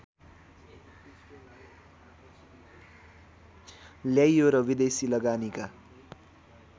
ल्याइयो र विदेशी लगानीका